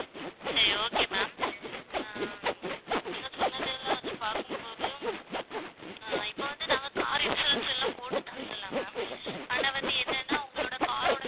சரி okay ma'am ஆஹ் நீங்க சொன்னதெல்லாம் வச்சு பார்க்கும்போது ஆஹ் இப்ப வந்து நாங்க car insurance எல்லாம் போட்டு தந்திடலாம் ma'am ஆனா வந்து என்னன்னா உங்களோட car ஓட